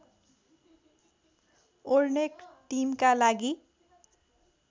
ओर्नेक टिमका लागि